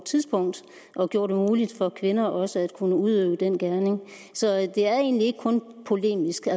tidspunkt og gjorde det muligt for kvinder også at kunne udøve den gerning så det er egentlig ikke kun polemisk